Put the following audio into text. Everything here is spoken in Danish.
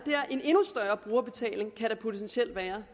en endnu større brugerbetaling det kan der potentielt være